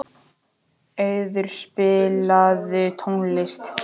Auður, spilaðu tónlist.